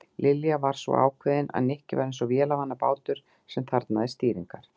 Lilja var svo ákveðin að Nikki var eins og vélarvana bátur sem þarfnaðist stýringar.